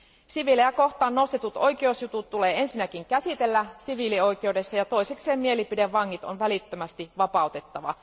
Siviilejä kohtaan nostetut oikeusjutut tulee ensinnäkin käsitellä siviilioikeudessa ja toisekseen mielipidevangit on välittömästi vapautettava.